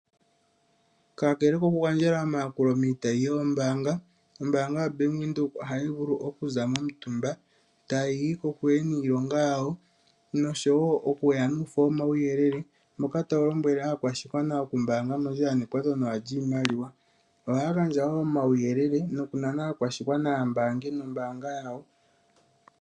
Kakele kokugandjela omayakulo miitayi yoombaanga, ombaanga yo Bank Windhoek ohayi vulu okuza momutumba tayi yi kokule niilonga yawo, noshowo okuya nuufo womauyelele mboka tawu lombwele aakwashigwana okumbaanga mondjila nekwato nawa lyiimaliwa. Ohaya gandja wo omauyelele nokunana aakwashigwana ya mbaange nombaanga yawo.